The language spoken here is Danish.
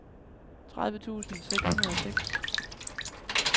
tredive tusind seks hundrede og seks